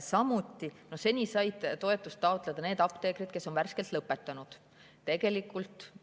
Samuti said seni toetust taotleda vaid need apteekrid, kes olid värskelt lõpetanud.